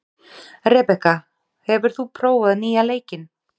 Rebekka, hefur þú prófað nýja leikinn?